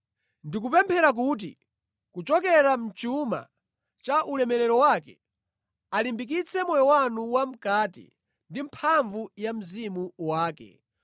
Ndikupemphera kuti kuchokera mʼchuma cha ulemerero wake alimbikitse moyo wanu wa mʼkati ndi mphamvu za Mzimu wake,